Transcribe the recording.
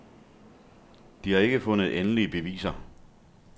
De har ikke fundet endelige beviser.